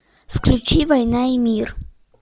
включи война и мир